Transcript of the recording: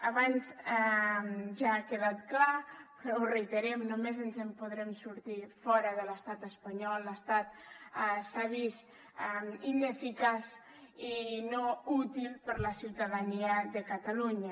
abans ja ha quedat clar però ho reiterem només ens en podrem sortir fora de l’estat espanyol l’estat s’ha vist ineficaç i no útil per la ciutadania de catalunya